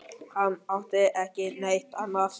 Nei, það var dauðasynd þegar svo stóð á.